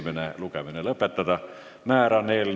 Määran eelnõu muudatusettepanekute esitamise tähtajaks 6. märtsi kell 16.